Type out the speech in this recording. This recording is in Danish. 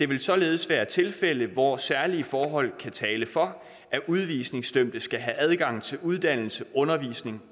vil således være tilfælde hvor særlige forhold kan tale for at udvisningsdømte skal have adgang til uddannelse undervisning